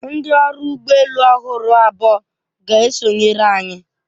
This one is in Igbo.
Ndị ọrụ ụgbọ elu ọhụrụ abụọ ga-esonyere anyị.